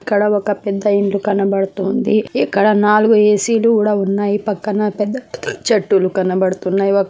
ఇక్కడ ఒక పెద్ద ఇల్లు కనబడుతొంది ఇక్కడ నాలుగు ఏ.సీ. లు కూడా ఉన్నాయి పక్కన పెద్ద పెద్ద చెట్టులు కనబడుతున్నాయి ఒక --